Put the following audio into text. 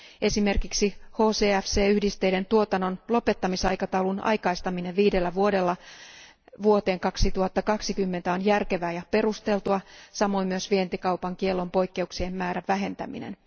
Esimerkiksi HCFC yhdisteiden tuotannon lopettamisaikataulun aikaistaminen viidellä vuodella vuoteen 2020 on järkevää ja perusteltua, samoin myös vientikaupan kiellon poikkeuksien määrän vähentäminen.